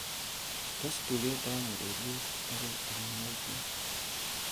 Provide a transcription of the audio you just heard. tes tuget am ureryet agoi tamonwogik loo